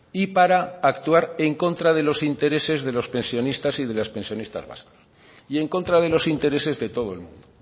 y para actuar en contra de los intereses de los pensionistas y de las pensionistas vascas y en contra de los intereses de todo el mundo